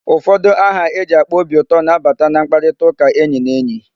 Ụfọdụ aha eji akpa obi ụtọ na-abata na mkparitaụka enyi na enyi.